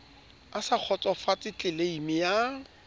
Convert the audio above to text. a sa kgotsofatse tleleime ya